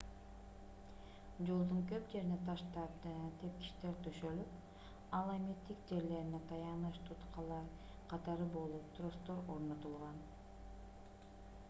жолдун көп жерине таштан тепкичтер төшөлүп ал эми тик жерлерине таяныч туткалар катары болот тростор орнотулган